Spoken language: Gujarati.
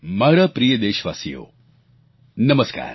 મારા પ્રિય દેશવાસીઓ નમસ્કાર